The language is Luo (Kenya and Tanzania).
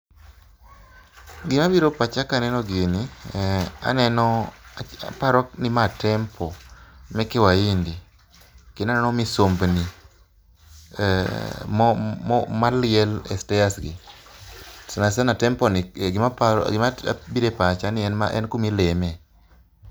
Gima biro e pacha kaneno gini ,aneno ,aparoni ma temple meke waindi kendo aneno misumbni maliel e stairs gi. Sana sana e temple ni gima aparo, gima biro e pacha en kuma ileme